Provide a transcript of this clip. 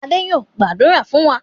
Adé yóò gbàdúrà fún wa.